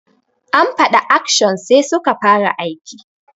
An fada action sai suka fara aiki.